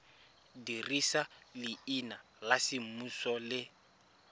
dirisa leina la semmuso le